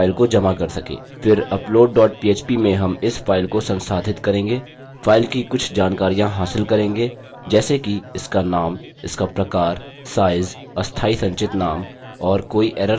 फिर upload dot php में हम इस फाइल को संसाधित करेंगे फाइल की कुछ जानकारियाँ हासिल करेंगे जैसे कि इसका नाम इसका प्रकार साइज़ अस्थायी संचित नाम और कोई एरर सूचना यदि पाई गयी हो